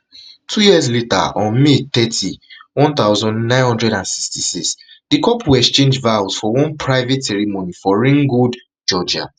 two years later on may thirty one thousand, nine hundred and sixty-six di couple exchange vows for one private ceremony for ringgold georgia